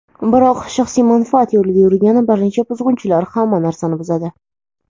biroq shaxsiy manfaat yo‘lida yurgan bir necha buzg‘unchilar hamma narsani buzadi.